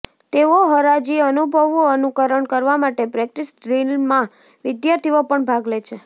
તેઓ હરાજી અનુભવનું અનુકરણ કરવા માટે પ્રેક્ટિસ ડ્રીલમાં વિદ્યાર્થીઓ પણ ભાગ લે છે